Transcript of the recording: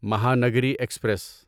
Mahanagari express